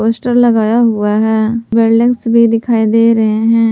Poster लगाया हुआ है बिल्डिंग्स भी दिखाई दे रहे हैं।